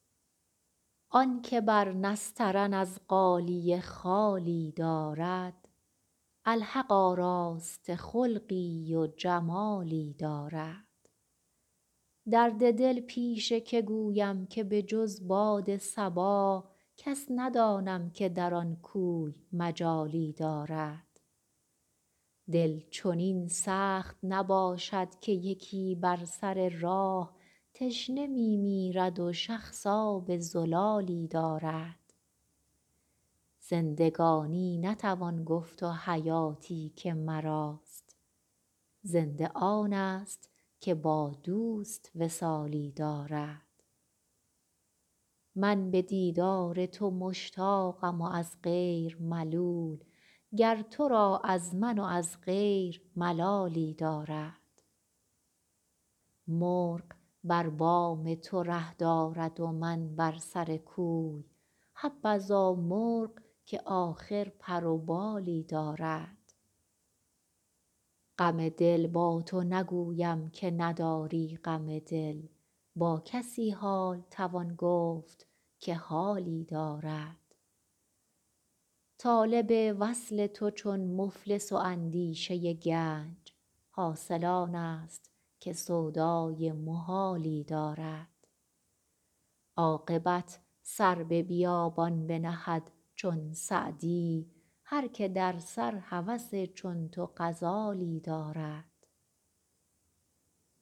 آن که بر نسترن از غالیه خالی دارد الحق آراسته خلقی و جمالی دارد درد دل پیش که گویم که به جز باد صبا کس ندانم که در آن کوی مجالی دارد دل چنین سخت نباشد که یکی بر سر راه تشنه می میرد و شخص آب زلالی دارد زندگانی نتوان گفت و حیاتی که مراست زنده آنست که با دوست وصالی دارد من به دیدار تو مشتاقم و از غیر ملول گر تو را از من و از غیر ملالی دارد مرغ بر بام تو ره دارد و من بر سر کوی حبذا مرغ که آخر پر و بالی دارد غم دل با تو نگویم که نداری غم دل با کسی حال توان گفت که حالی دارد طالب وصل تو چون مفلس و اندیشه گنج حاصل آنست که سودای محالی دارد عاقبت سر به بیابان بنهد چون سعدی هر که در سر هوس چون تو غزالی دارد